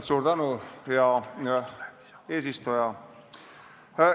Suur tänu, hea eesistuja!